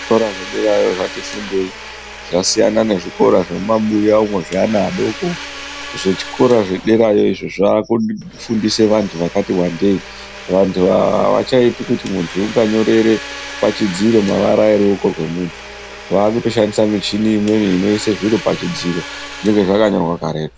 Zvikora zvederayo zvati fundei zvasiyana nezvikora zvemumabuya umwo zveana adoko zvichikora zvederayo izvo zvaakufundisa vantu vakati wandei. Vantu ava havachaiti kuti muntu unganyorere pachidziro mavara ruoko rwemuntu. Vaakutoshandisa michini imweni inoise zviro pachidziro zvinenge zvakanyorwa karetu.